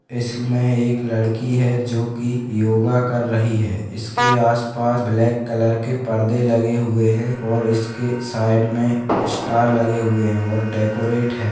इसमें एक लड़की है जो की योगा कर रही है। इसके आसपास ब्लैक कलर के परदे लगे हुए हैं और इसके साइड में स्टार लगे हुए हैं और डेकोरेट है।